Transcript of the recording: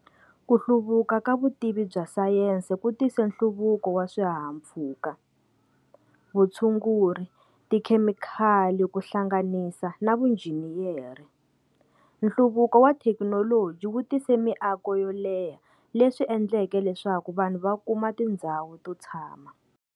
Kuhluvuka ka vutivi bya Sayensi kutise nhluvuko wa swihahampfhuka, vutshunguri, tikhemikhali kuhlanganisa na vunjiniyeri nhluvuko wa thekinoloji wu tise miako yo leha leswi endleke leswaku vanhu vakuma tindzawu to tshama.